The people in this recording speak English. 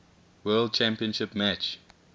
world championship match